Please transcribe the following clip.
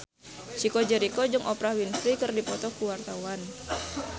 Chico Jericho jeung Oprah Winfrey keur dipoto ku wartawan